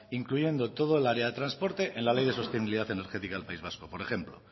incluyendo todo el área de transporte en la ley de sostenibilidad energética del país vasco por ejemplo